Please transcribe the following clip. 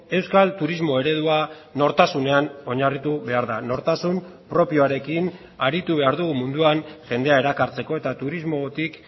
euskal turismo eredua nortasunean oinarritu behar da nortasun propioarekin aritu behar dugu munduan jendea erakartzeko eta turismotik